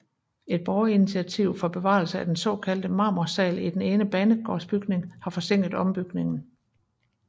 Et borgerinitiativ for bevarelse af den såkaldte marmorsal i den ene banegårdsbygning har forsinket ombygningen